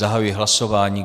Zahajuji hlasování.